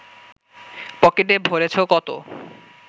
পকেটে ভরেছ কতো